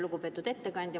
Lugupeetud ettekandja!